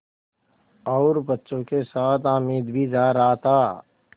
और बच्चों के साथ हामिद भी जा रहा था